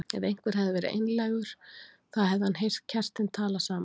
Ef einhver hefði verið nálægur þá hefði hann heyrt kertin tala saman.